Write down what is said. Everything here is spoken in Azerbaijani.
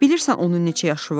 Bilirsən onun neçə yaşı var?